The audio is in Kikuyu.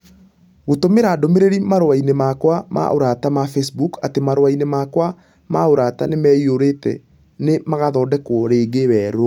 gũtũmĩra ndũmĩrĩri marũa-inĩ makwa ma ũrata ma Facebook atĩ marũa-inĩ makwa ma ũrata nĩ maiyũrĩte na nĩ magaathondekwo rĩngĩ weru